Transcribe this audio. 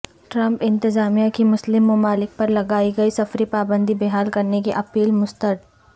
Trump انتظامیہ کی مسلم ممالک پرلگائی گئی سفری پابندی بحال کرنے کی اپیل مسترد